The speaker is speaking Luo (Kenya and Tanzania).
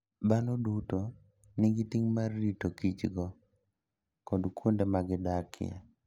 Dhano duto nigi ting' mar ritokichogi kod kuonde ma gidakie.